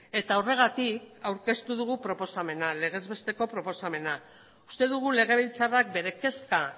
eta horregatik aurkeztu dugu proposamena legezbesteko proposamena uste dugu legebiltzarrak bere kezka